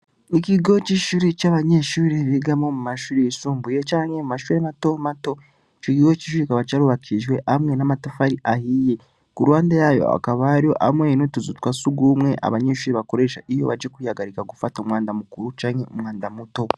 Ikigo c'ishuri c'abanyeshuri bigamo mu mashuri yisumbuye canke mu mashuri na tomato ci igigo c'ishuri kaba ca arubakishwe amwe n'amatafari ahiye ngo uruwanda yayo akabario amwenutuzutwa si ugumwe abanyeshuri bakoresha iyo baje kwihagarika gufata umwanda mukuru canke umwanda muto.